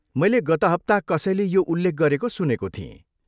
मैले गत हप्ता कसैले यो उल्लेख गरेको सुनेको थिएँ।